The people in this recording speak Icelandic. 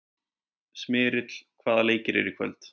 Smyrill, hvaða leikir eru í kvöld?